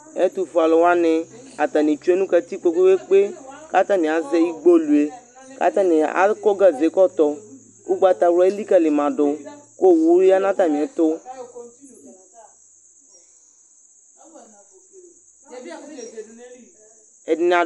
Ɛtʊ fʊé alʊ wani atani tsʊé nʊ katikpo kpékpékpé Ka atzni aʒɛ ɩgbolɩé, ka atani akɔ gaʒé kotoɔ Ʊgbata wlaa élikalima dʊ Owʊ yanʊ atamiɛtʊ Ɛdinia